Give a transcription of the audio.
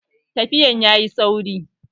Tafiyan ya yi sauri